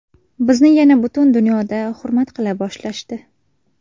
Bizni yana butun dunyoda hurmat qila boshlashdi.